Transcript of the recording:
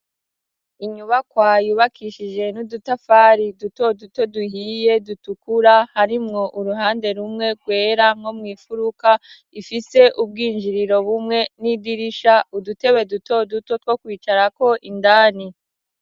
inyubakwa yubakishije n'udutafari duto duto duhiye, dutukura harimwo uruhande rumwe rwera, nko mw'imfuruka ifise ubwinjiriro bumwe n'idirisha, udutebe duto duto two kwicarako indani.